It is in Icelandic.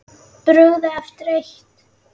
Brugðið eftir eitt.